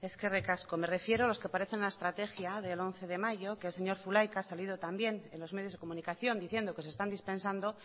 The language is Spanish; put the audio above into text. eskerrik asko me refiero a los que aparecen en la estrategia del once de mayo que el señor zulaika ha salido también en los medios de comunicación diciendo que se están dispensando